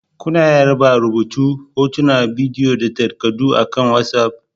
Kuna iya raba rubutu, hotuna, bidiyo da takardu akan WhatsApp